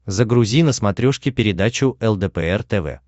загрузи на смотрешке передачу лдпр тв